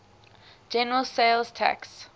general sales tax